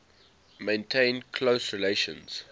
maintained close relations